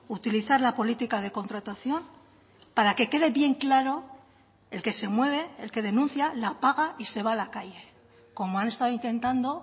utilizar la política de contratación para que quede bien claro el que se mueve el que denuncia la paga y se va a la calle como han estado intentando